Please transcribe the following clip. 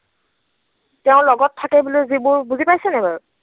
তেওঁৰ লগত থাকে বুলি যিবোৰ, বুজি পাইছে নাই বাৰু?